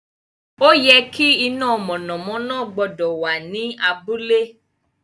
O ye ki iná mọ̀nàmọ́ná gbọ́dọ̀ wà ní abúlé